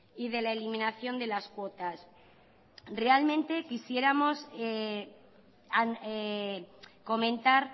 y de la eliminación de las cuotas realmente quisiéramos comentar